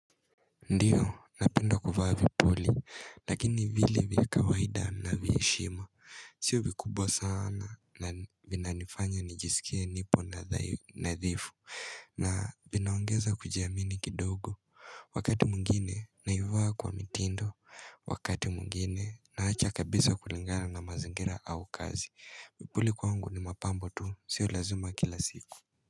Ndiyo napenda kuvaa vipuli lakini vile vile kawaida na vya heshima sio vikubwa sana na vinanifanya nijisikie nipo na dha dhifu na vinaongeza kujiamini kidogo wakati mwingine naivaa kwa mitindo wakati mwngine naacha kabisa kulingana na mazingira au kazi vipuli kwangu ni mapambo tu sio lazima kila siku.